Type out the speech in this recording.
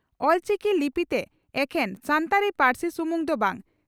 ᱚᱞᱪᱤᱠᱤ ᱞᱤᱯᱤᱛᱮ ᱮᱠᱷᱮᱱ ᱥᱟᱱᱛᱟᱲᱤ ᱯᱟᱹᱨᱥᱤ ᱥᱩᱢᱩᱝ ᱫᱚ ᱵᱟᱝ